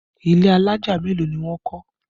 Ilé alájà mélòó ni wọ́n kọ́?